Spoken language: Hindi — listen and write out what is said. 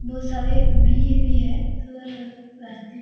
बहुत सारे भीड़ भी है थोड़ा-थोड़ा रास्ते --